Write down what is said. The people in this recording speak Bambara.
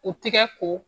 U tɛgɛ ko